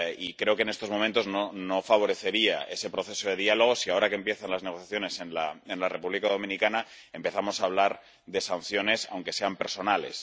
Creo que en estos momentos no se favorecería ese proceso de diálogo si, ahora que empiezan las negociaciones en la República Dominicana, empezamos a hablar de sanciones, aunque sean personales.